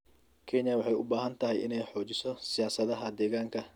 Kenya waxay u baahan tahay inay xoojiso siyaasadaha deegaanka.